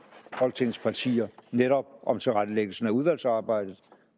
folketingets partier netop om tilrettelæggelsen af udvalgsarbejdet